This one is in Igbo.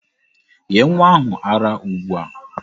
Nye nwa ahụ ara ugbu a!